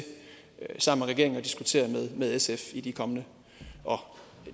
sammen med regeringen at diskutere med sf i de kommende og